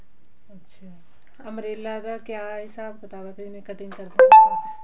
ਅੱਛਾ umbrella ਦਾ ਕਿਆ ਆ ਹਿਸਾਬ ਕਿਤਾਬ ਜਿਵੇਂ cutting ਕਰਦੇ ਆਂ